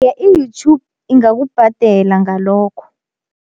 I-YouTube ingakubhadela ngalokho.